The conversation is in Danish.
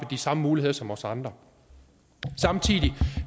de samme muligheder som os andre samtidig